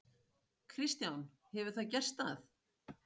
Kristján: Hefur það gerst að?